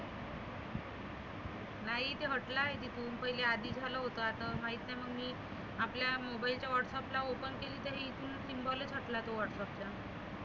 नाही ते हटलाय तिथुन पहिले निघालं होतं आता माहित नाही मग मी आपल्या mobile च्या whatsapp ला open केलं तर इथुन symbol चं हटला तो whatsapp चा.